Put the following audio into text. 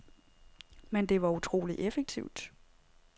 Men det var utroligt effektivt.